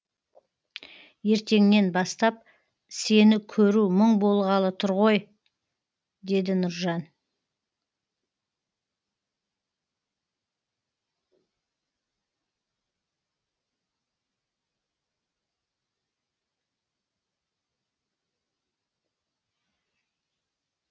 ертеңнен бастап сені көру мұң болғалы тұр ғой деді нұржан